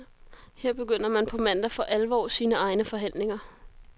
Her begynder man på mandag for alvor sine egne forhandlinger.